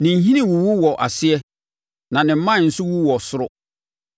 Ne nhini wuwu wɔ aseɛ na ne mman nso wu wɔ ɔsoro.